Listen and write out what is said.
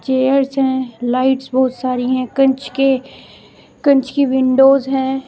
Chairs हैं lights बहोत सारी हैं कंच के कंच की विंडोज हैं।